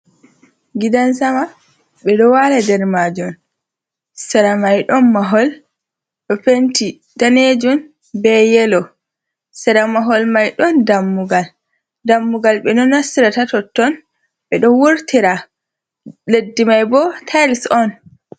Gidan sama be do wala nder majun sera mai don mahol do penti danejum be yelo, sera mahol mai don dammugal, dammugal be do nastira ta totton be do wurtira leddi mai bo tils on.